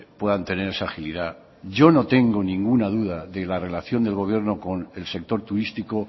puedan tener esa agilidad yo no tengo ninguna duda de la relación del gobierno con el sector turístico